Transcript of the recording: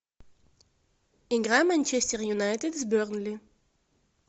игра манчестер юнайтед с бернли